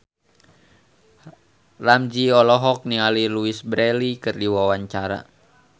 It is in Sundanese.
Ramzy olohok ningali Louise Brealey keur diwawancara